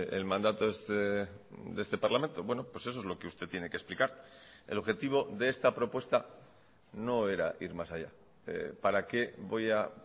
el mandato de este parlamento bueno pues eso es lo que usted tiene que explicar el objetivo de esta propuesta no era ir más allá para qué voy a